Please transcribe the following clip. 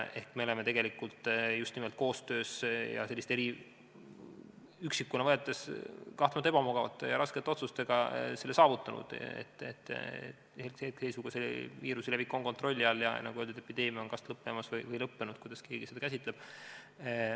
Ehk me oleme tegelikult just nimelt koostöös ja üksikuna võetuna kahtlemata ebamugavate ja raskete otsustega selle saavutanud, et hetkeseisuga on viiruse levik kontrolli all ja epideemia on kas lõppemas või lõppenud, kuidas keegi seda käsitleb.